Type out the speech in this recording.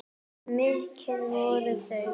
En mikil voru þau.